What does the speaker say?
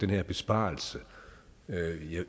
her besparelse